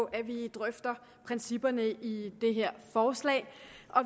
at vi drøfter principperne i det her forslag